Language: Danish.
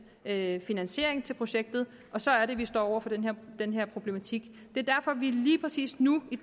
en finansiering til projektet og så er det vi står over for den den her problematik det er derfor vi lige præcis nu i